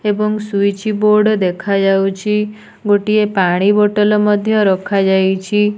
ଏବଂ switchboard ଦେଖା ଯାଉଚି। ଗୋଟିଏ ପାଣି ବୋତଲ ମଧ୍ୟ ରଖା ଯାଇଛି।